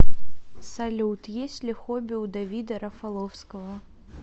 салют есть ли хобби у давида рафаловского